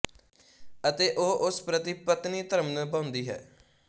ਅਤੇ ਉਹ ਉਸ ਪ੍ਰਤੀ ਪਤਨੀ ਧਰਮ ਨਿਭਾਉਂਦੀ ਹੈ